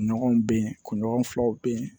Ɲɔgɔn be yen kunɲɔgɔn filaw be yen